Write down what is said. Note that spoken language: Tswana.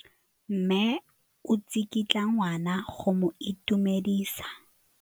Mme o tsikitla ngwana go mo itumedisa.